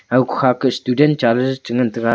ago kukha ke student chale chengan taiga.